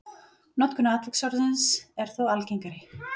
notkun atviksorðsins er þó algengari